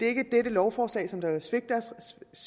ikke dette lovforslag som vil svække deres